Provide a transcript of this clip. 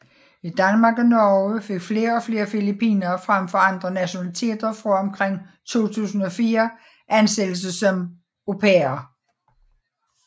I Danmark og Norge fik flere og flere filippinere frem for andre nationaliteter fra omkring 2004 ansættelse som au pairer